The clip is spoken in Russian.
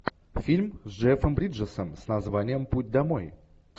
фильм с джефом бриджесом с названием путь домой